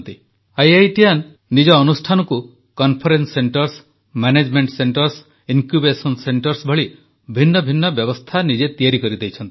IITian ନିଜ ଅନୁଷ୍ଠାନକୁ conference centres management centres incubation centres ଭଳି ଭିନ୍ନ ଭିନ୍ନ ବ୍ୟବସ୍ଥା ନିଜେ ତିଆରି କରି ଦେଇଛନ୍ତି